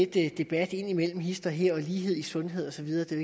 debat indimellem hist og her om lighed i sundhed og så videre det er